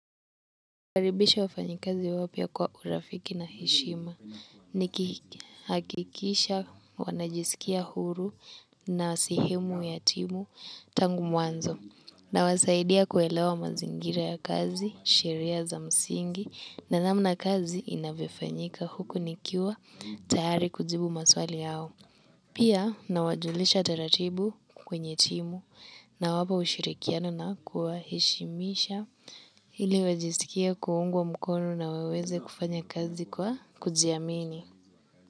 Nakaribisha wafanyikazi wapya kwa urafiki na heshima nahakikisha wanajisikia huru na sehemu ya timu tangu mwanzo nawasaidia kuelewa mazingira ya kazi, sheria za msingi na namna kazi inavyofanyika huku nikiwa tayari kujibu maswali yao. Pia nawajulisha taratibu kwenye timu nawapa ushirikiano na kuwaheshimisha ili wajisikie kuungwa mkono na waweze kufanya kazi kwa kujiamini.